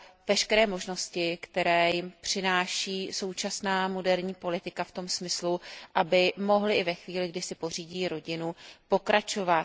veškeré možnosti, které jim přináší současná moderní politika v tom smyslu, aby mohly i ve chvíli, kdy si pořídí rodinu, pokračovat.